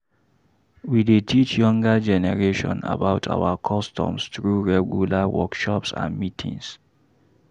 We dey teach younger generation about our customs through regular workshops and meetings.